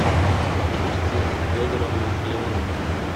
августе федоровне леоновой